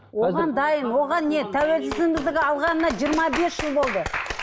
тәуелсіздігімізді алғанына жиырма бес жыл болды